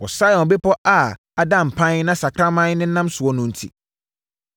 wɔ Sion bepɔ a ada mpan na sakraman nenam soɔ no enti.